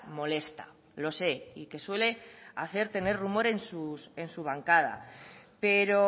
molesta lo sé y que suele hacer tener rumor en su bancada pero